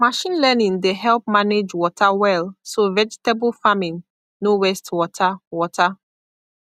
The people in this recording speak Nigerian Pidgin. machine learning dey help manage water well so vegetable farming no waste water water